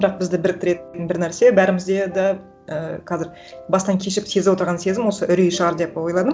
бірақ бізді біріктіретін бір нәрсе бәрімізде де і қазір бастан кешіп сезіп отырған сезім осы үрей шығар деп ойладым